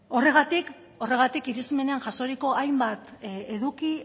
horregatik irismenean jasoriko hainbat eduki